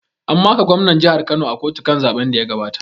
An maka gwamnan jihar Kano a kotu kan zaɓen da ya gabata